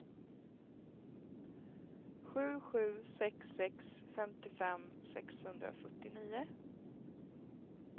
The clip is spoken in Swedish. sju sju sex sex femtiofem sexhundrafyrtionio